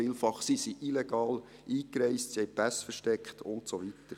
vielfach sind sie illegal eingereist, haben die Pässe versteckt und so weiter.